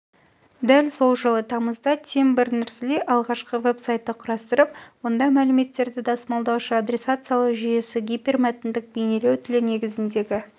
дәл сол жылы тамызда тим бернерс ли алғашқы веб-сайтты құрастырып онда мәліметтерді тасымалдаушы адресациялау жүйесі гипермәтіндік бейнелеу тілі негізіндегі